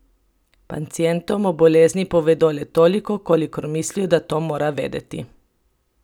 Pacientom o bolezni povedo le toliko, kolikor mislijo, da ta mora vedeti.